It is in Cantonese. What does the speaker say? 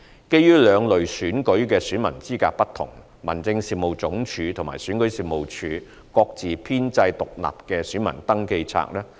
基於兩類選舉的選民資格不同，民政事務總署和選舉事務處各自編製獨立的選民登記冊。